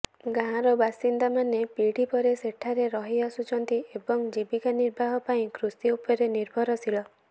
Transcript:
ଗାଁର ବାସିନ୍ଦାମାନେ ପିଢ଼ି ପରେ ସେଠାରେ ରହିଆସୁଛନ୍ତି ଏବଂ ଜୀବିକା ନିର୍ବାହ ପାଇଁ କୃଷି ଉପରେ ନିର୍ଭରଶୀଳ